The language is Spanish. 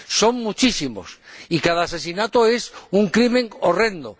son muchísimos, y cada asesinato es un crimen horrendo.